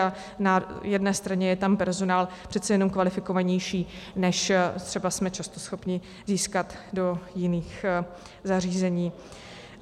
A na jedné straně je tam personál přece jenom kvalifikovanější, než třeba jsme často schopni získat do jiných zařízení.